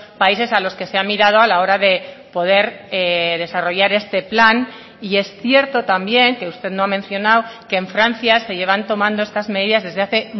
países a los que se ha mirado a la hora de poder desarrollar este plan y es cierto también que usted no ha mencionado que en francia se llevan tomando estas medidas desde hace